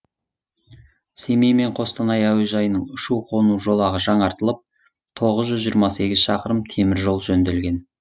семей мен қостанай әуежайының ұшу қону жолағы жаңартылып тоғыз жүз жиырма сегіз шақырым теміржол жөнделген